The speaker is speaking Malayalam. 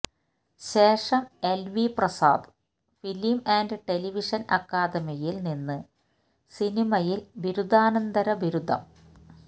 ശേഷം LV Prasad film and television അക്കാദമിയിൽ നിന്ന് സിനിമയിൽ ബിരുദാനന്തര ബിരുദം